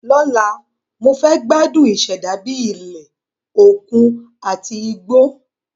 Lọ́la, mo fẹ́ gbádùn ìṣẹ̀dá bíi ilẹ̀, òkun àti igbó.